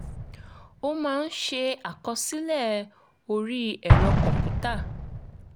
ó máa ń ṣe àkọsílẹ̀ orí ẹ̀rọ kọ̀ǹpútà